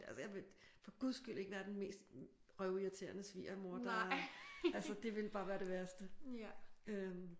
Altså jeg vil for Guds skyld ikke være den mest røvirriterende svigermor der. Altså det ville bare være det værste øh